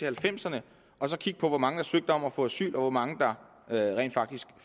halvfemserne og kigge på hvor mange der søgte om at få asyl og hvor mange der rent faktisk